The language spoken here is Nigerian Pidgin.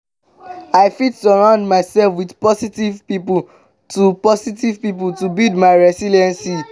i fit surround myself with positive people to positive people to build my resilience.